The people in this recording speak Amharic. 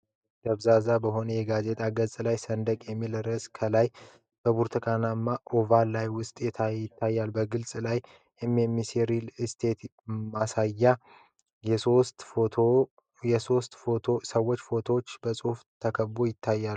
ደብዛዛ በሆነ የጋዜጣ ገጽ ላይ "ሰንደቅ" የሚል ርዕስ ከላይ በብርቱካናማ ኦቫል ውስጥ ይታያል። በገጹ ላይ የ"NMC REAL ESTATE" ማስታወቂያ እና የሶስት ሰዎች ፎቶዎች በጽሁፎች ተከበው ይታያሉ።